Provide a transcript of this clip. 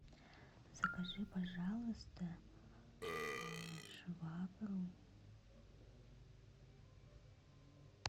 закажи пожалуйста швабру